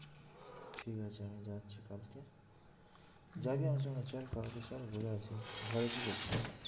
ঠিক আছে আমি যাচ্ছি কালকে যাবি আমার সঙ্গে? চল কালকে চল ঘুরে আসবি ঘরে কি করছিস?